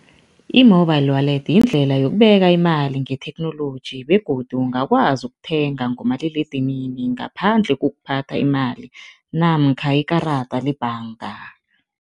I-mobile wallet yindlela yokubeka imali ngetheknoloji begodu ungakwazi ukuthenga ngomaliledinini ngaphandle kokuphatha imali namkha ikarada lebhanga.